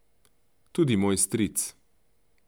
Tudi moj stric.